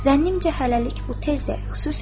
“Zənnimcə hələlik bu tezdir.”